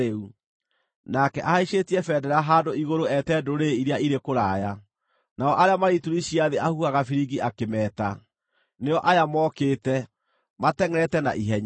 Nake ahaicĩtie bendera handũ igũrũ eete ndũrĩrĩ iria irĩ kũraya, nao arĩa marĩ ituri cia thĩ ahuhaga biringi akĩmeeta. Nĩo aya mokĩte, matengʼerete na ihenya.